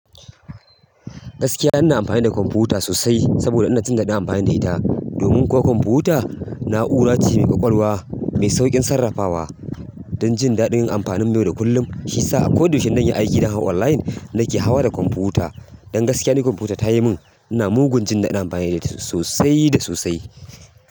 Gaskiya ina amfani da kwamfuta sosai saboda ina jin daɗin amfani da ita. Domin kuwa kwamfuta na'ura ce mai ƙwaƙwalwa, mai sauƙin sarrafawa don jin daɗin amfani mu yau da kullum. Shi sa ako da yaushe in zan yi aiki zan hau online nake hawa da kwamfuta. Don gaskiya ni kwamfuta ta yi min ina mugun jin daɗin amfani da ita sosai da sosai.